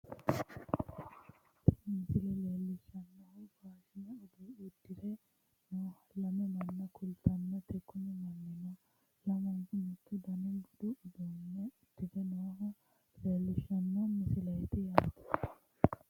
tini misile leellishshanno faashine uddire nooha lame manna kultannote kuni mannino lamunku mittu daniha budu uduunne uddire nooha leellishshano misileeti yaate